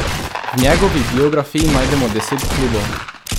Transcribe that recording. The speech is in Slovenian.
V njegovi biografiji najdemo deset klubov.